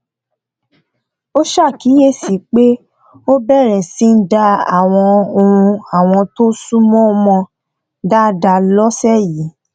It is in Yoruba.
a ṣàkíyèsí pé ó bẹrẹ síní dá àwọn ohùn àwọn tó súnmọ mọ dáadáa lọsẹ yìí